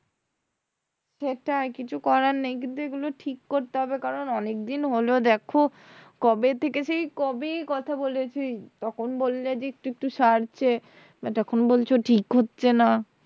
সেটাই কিছু করার নেই কিন্তু এগুলো ঠিক করতে হবে কারণ অনেকদিন হলো দেখো কবে থেকে সেই কবে কথা বলেছি তখন বললে যে একটু একটু সারছে but এখন বলছো ঠিক হচ্ছে না।